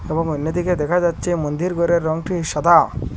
এবং অন্যদিকে দেখা যাচ্ছে মন্দির ঘরের রঙটি সাদা।